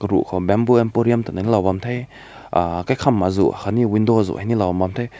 ru ko bamboo emporium ta ne loi bam te uh kaikam azu ha ni window azu hi ne loi bam te.